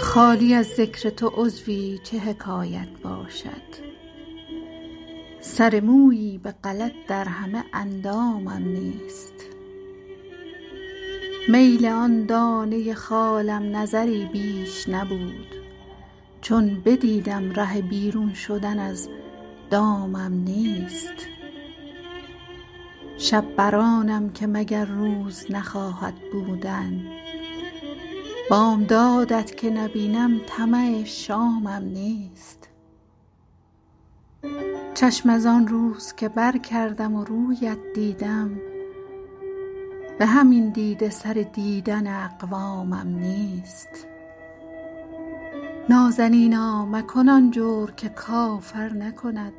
خالی از ذکر تو عضوی چه حکایت باشد سر مویی به غلط در همه اندامم نیست میل آن دانه خالم نظری بیش نبود چون بدیدم ره بیرون شدن از دامم نیست شب بر آنم که مگر روز نخواهد بودن بامداد ت که نبینم طمع شامم نیست چشم از آن روز که برکردم و روی ات دیدم به همین دیده سر دیدن اقوامم نیست نازنینا مکن آن جور که کافر نکند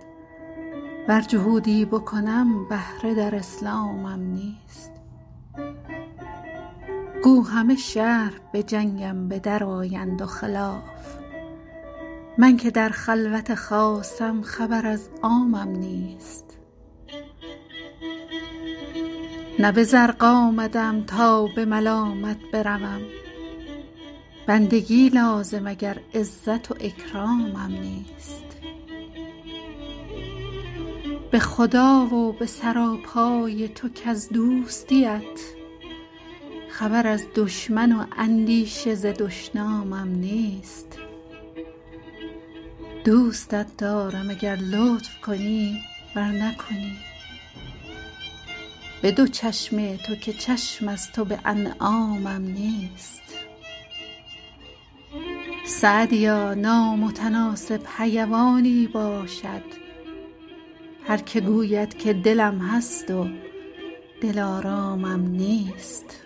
ور جهودی بکنم بهره در اسلامم نیست گو همه شهر به جنگم به درآیند و خلاف من که در خلوت خاصم خبر از عامم نیست نه به زرق آمده ام تا به ملامت بروم بندگی لازم اگر عزت و اکرامم نیست به خدا و به سراپای تو کز دوستی ات خبر از دشمن و اندیشه ز دشنامم نیست دوستت دارم اگر لطف کنی ور نکنی به دو چشم تو که چشم از تو به انعامم نیست سعدیا نامتناسب حیوانی باشد هر که گوید که دلم هست و دلآرامم نیست